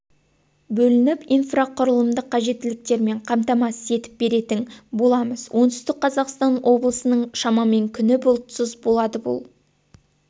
бөлініп инфрақұрылымдық қажеттіліктермен қамтамасыз етіп беретін боламыз оңтүстік қазақстан облысының шамамен күні бұлтсыз болады бұл